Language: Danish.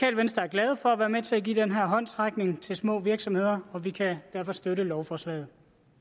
venstre er glade for at være med til at give den her håndsrækning til små virksomheder og vi kan derfor støtte lovforslaget